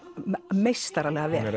meistaralega vel